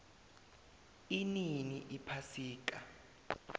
inini iphasika